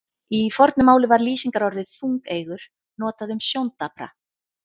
Í fornu máli var lýsingarorðið þungeygur notað um sjóndapra.